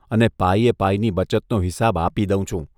અને પાઇએ પાઇની બચતનો હિસાબ આપી દઉં છું.